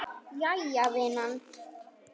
Jæja vinan.